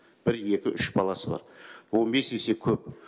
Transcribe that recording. бір екі үш баласы бар он бес есе көп